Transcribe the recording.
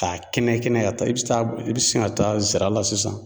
Ka kɛnɛ kɛnɛ ka taa i bɛ taa i bɛ sin ka taa zira la sisan.